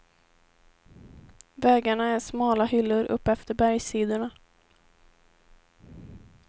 Vägarna är smala hyllor uppefter bergssidorna.